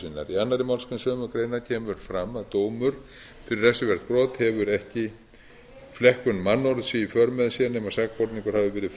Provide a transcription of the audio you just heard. í annarri grein sömu greinar kemur fram að dómur fyrir refsivert brot tefur ekki flekkun mannorðs í för með sér nema sakborningur hafi verið